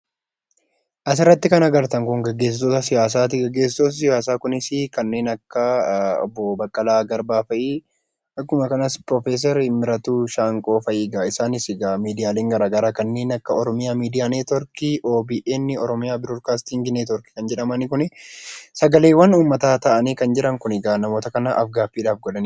Asirratti kan argatan kun gaggeessitoota siyaasaati. Gaggeessitoonni siyaasaa kunis kanneen akka obboo Baqqalaa Garbaa fa'ii akkasumas piroofeesar Miratuu Shaanqoo fa'ii isaanis egaa miidiyaaleen garaagaraa kanneen akka 'oromia media network' , OBN, kan jedhaman kun sagaleewwan uummataa ta'anii kan jiran kun egaa namoota kanaaf af-gaaffii godhaniidha.